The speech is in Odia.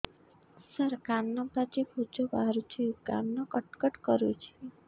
ସାର କାନ ପାଚି ପୂଜ ବାହାରୁଛି କାନ କଟ କଟ କରୁଛି